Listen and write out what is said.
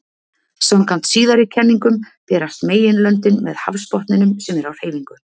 Samkvæmt síðari kenningunum berast meginlöndin með hafsbotninum, sem er á hreyfingu.